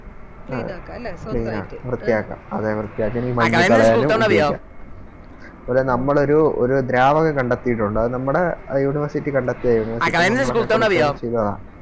അതെ വൃത്തിയാക്കാം ഈ മഞ്ഞ് കളയാനും ഉപയോഗിക്കാം അതുപോലെ നമ്മളൊരു ഒരു ദ്രാവകം കണ്ടെത്തിയിട്ടുണ്ട് അത് നമ്മളെ ആ University കണ്ടെത്തിയത് University നമ്മളൊക്കെക്കൂടെ ചേർന്ന് ചെയ്തതാ